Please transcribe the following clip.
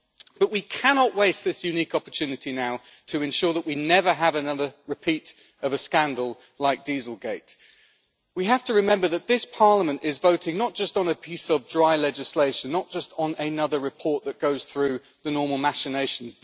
But we cannot waste this unique opportunity now to ensure that we never have another repeat of a scandal like Dieselgate. We have to remember that this Parliament is voting not just on a piece of dry legislation, not just on another report that goes through the normal machinations.